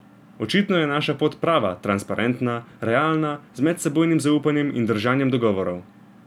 Očitno je naša pot prava, transparentna, realna, z medsebojnim zaupanjem in držanjem dogovorov.